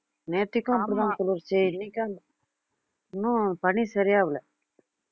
நேத்திக்கும் அப்படித்தான் குளுருச்சு இன்னைக்கும் அந்~ இன்னும் பனி சரியாவல